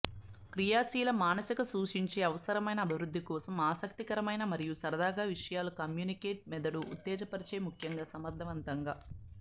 క్రియాశీల మానసిక సూచించే అవసరమైన అభివృద్ధి కోసం ఆసక్తికరమైన మరియు సరదాగా విషయాలు కమ్యూనికేట్ మెదడు ఉత్తేజపరిచే ముఖ్యంగా సమర్థవంతంగా